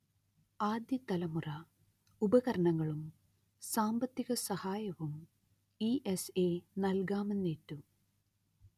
ആദ്യതലമുറ ഉപകരണങ്ങളും സാമ്പത്തിക സഹായവും ഇ_letter എസ്_letter എ_letter നൽകാമെന്നേറ്റു